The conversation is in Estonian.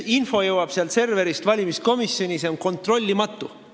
Info, mis jõuab sealt serverist valimiskomisjoni, on kontrollimatu.